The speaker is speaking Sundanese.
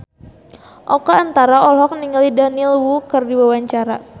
Oka Antara olohok ningali Daniel Wu keur diwawancara